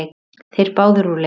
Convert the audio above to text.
Þeir eru báðir úr leik.